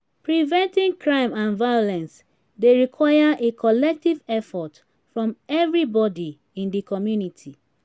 preventing crime and violence dey require a collective effort from everybody in di community.